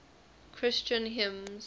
christian hymns